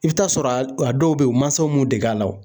I bi t'a sɔrɔ a dɔw be yen u mansaw m'u dege a la o